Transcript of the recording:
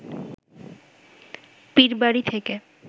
পীরবাড়ি থেকে